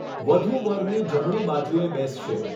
વધૂ વરની જમણી બાજુએ બેસશે.